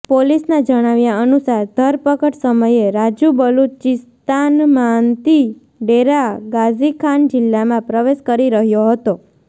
પોલીસના જણાવ્યા અનુસાર ધરપકડ સમયે રાજૂ બલૂચિસ્તાનમાંતી ડેરા ગાઝી ખાન જિલ્લામાં પ્રવેશ કરી રહ્યો હતો